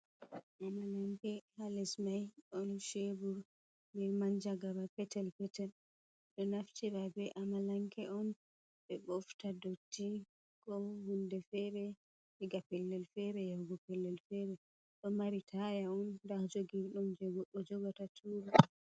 Amalanke halesmai ɗon shebur be manjagara petel petel, ɗo naftira be amalanke on ɓe bofta dotti ko hunde fere diga pellel fere yahugo pellel fere, ɗo mari taya on nda jogir ɗum je ɓe jogata ɓe tura.